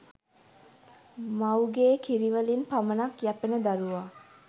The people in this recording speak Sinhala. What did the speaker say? මවුගේ කිරි වලින් පමණක් යැපෙන දරුවා